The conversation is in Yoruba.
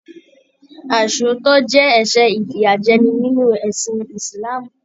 Aisootọ jẹ ẹsẹ ifiyajẹni nínú ẹsìn ísílaámú